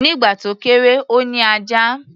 Nígbà tó kéré, ó ní ajá.